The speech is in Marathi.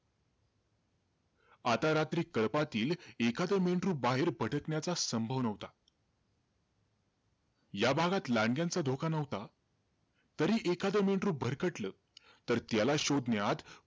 आता रात्री कळपातील एखाद मेंढरू बाहेर भटकण्याचा संभव नव्हता. या भागात लांडग्यांचा धोका नव्हता. तरी, एखाद मेंढरू भरकटलं तर त्याला शोधण्यात,